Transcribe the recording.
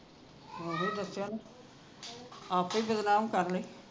ਓਹੀ ਦੱਸਿਆ ਓਹਨੇ ਆਪੇ ਬਦਨਾਮ ਕਰਲੇ